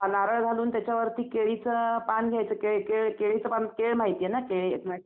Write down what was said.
नारळ घालून त्याच्यावरती केळीचं पान घ्यायचं केळं माहिती आहे ना